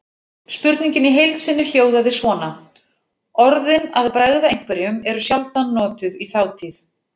Spurningin í heild sinni hljóðaði svona: Orðin að bregða einhverjum eru sjaldan notuð í þátíð.